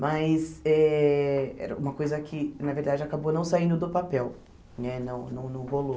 Mas eh era uma coisa que, na verdade, acabou não saindo do papel, né não não não rolou.